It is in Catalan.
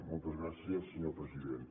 moltes gràcies senyor president